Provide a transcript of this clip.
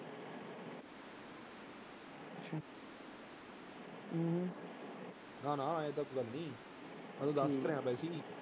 ਨਾ ਨਾ ਇਉਂ ਤਾਂ ਕੋਈ ਗੱਲ ਨੀ, ਮੈਂ ਤਾਂ ਦੱਸ ਰਿਹਾਂ ਵੈਸੇ ਹੀ।